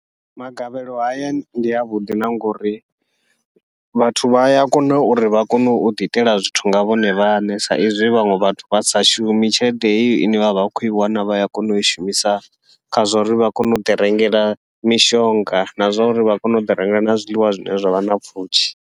Magavhelo haya ndi avhuḓi na ngauri vhathu vha ya kona uri vha kone uḓi itela zwithu nga vhone vhaṋe, sa izwi vhaṅwe vhathu vha sa shumi tshelede heyo ine vha vha vha vha khou i wana vha ya kona ui shumisa kha zwa uri vha kone uḓi rengela mishonga, na zwauri vha kone uḓi rengela na zwiḽiwa zwine zwavha na pfhushi.